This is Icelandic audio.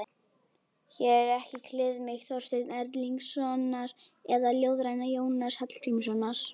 Hér er ekki kliðmýkt Þorsteins Erlingssonar eða ljóðræna Jónasar Hallgrímssonar.